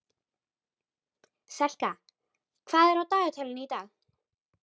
Selka, hvað er á dagatalinu í dag?